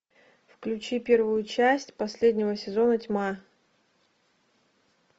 включи первую часть последнего сезона тьма